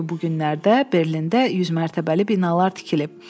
Çünki bu günlərdə Berlində 100 mərtəbəli binalar tikilib.